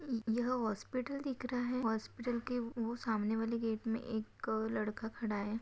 यह हॉस्पिटल दिख रहा है हॉस्पिटल के वो सामने वाले गेट में एक अ लड़का खड़ा है।